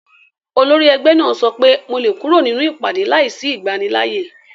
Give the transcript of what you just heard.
Olórí ẹgbẹ́ náà sọ pé mo lè kúrò nínú ìpàdé láìsí ìgbanilááyè